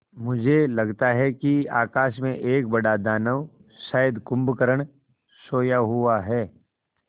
मुझे लगता है कि आकाश में एक बड़ा दानव शायद कुंभकर्ण सोया हुआ है